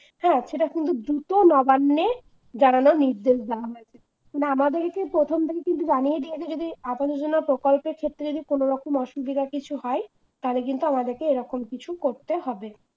হ্যাঁ সেটা কিন্তু দ্রুত নবান্নে জানানোর নির্দেশ দেওয়া হয়েছে আমাদেরকে প্রথম থেকে কিন্তু জানিয়ে দিয়েছে যদি আবাস যোজনা প্রকল্পের ক্ষেত্রে যদি কোন রকম অসুবিধা কিছু হয় তাহলে কিন্তু আমাদেরকে এরকম কিছু করতে হবে।